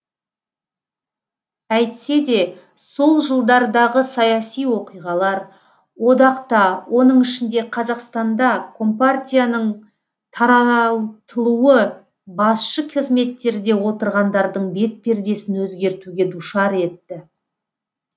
әйтсе де сол жылдардағы саяси оқиғалар одақта оның ішінде қазақстанда компартияның таратылуы басшы қызметтерде отырғандардың бетпердесін өзгертуге душар етті